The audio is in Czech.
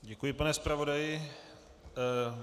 Děkuji, pane zpravodaji.